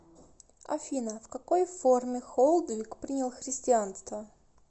афина в какой форме холдвиг принял христианство